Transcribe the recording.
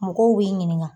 Mɔgɔw b'i ɲininka